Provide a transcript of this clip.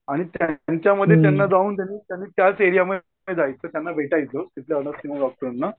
आणि त्यांच्यामध्ये जाऊन त्यांनी त्यांनी त्याच एरिया मध्ये जायचं त्यांना भेटायचं किना डॉक्टरांना